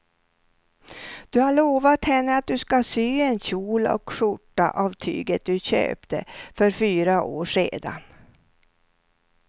Du har lovat henne att du ska sy en kjol och skjorta av tyget du köpte för fyra år sedan.